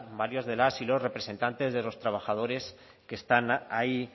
varios de las y los representantes de los trabajadores que están ahí